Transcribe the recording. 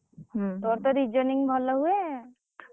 ହୁଁ ହୁଁ ତୋର ତ Reasoning ଭଲ ହୁଏ।